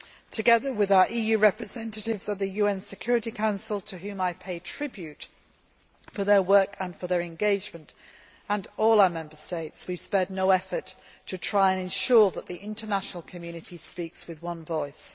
Together with our EU representatives at the UN Security Council, to whom I pay tribute for their work and for their engagement, and all our Member States, we have spared no effort to try and ensure that the international community speaks with one voice.